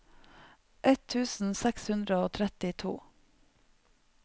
ett tusen seks hundre og trettito